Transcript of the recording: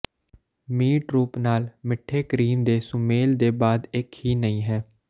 meat ਰੂਪ ਨਾਲ ਮਿੱਠੇ ਕਰੀਮ ਦੇ ਸੁਮੇਲ ਦੇ ਬਾਅਦ ਇੱਕ ਹੀ ਨਹੀ ਹੈ